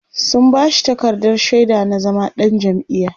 sun bashi takardar shaida na zama ɗan jam'iya